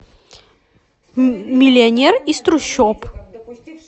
миллионер из трущоб